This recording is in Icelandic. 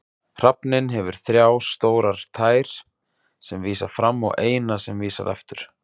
Hrafninn hefur þrjá stórar tær sem vísa fram og eina sem vísar aftur.